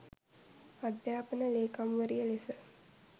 අධ්‍යාපන ලේකම්වරිය ලෙස